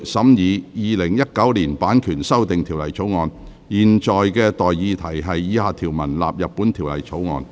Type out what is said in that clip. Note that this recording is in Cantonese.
我現在向各位提出的待議議題是：以下條文納入本條例草案。